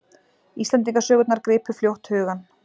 Íslendingasögurnar gripu fljótt hugann.